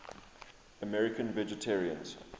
american vegetarians